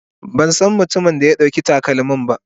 Ban san mutumin da ya ɗauki takalmin ba.